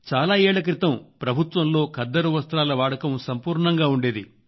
చాలా ఏళ్ళ క్రితం ప్రభుత్వంలో ఖద్దరు వస్త్రాల వాడకం సంపూర్ణంగా ఉండేది